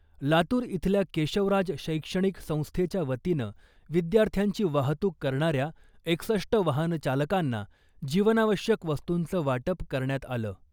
लातूर इथल्या केशवराज शैक्षणिक संस्थेच्या वतीनं विद्यार्थ्यांची वाहतूक करणाऱ्या एकसष्ट वाहन चालकांना जीवनावश्यक वस्तूंचं वाटप करण्यात आलं .